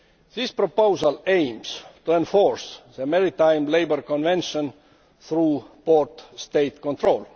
The proposal aims to enforce the Maritime Labour Convention through port State control.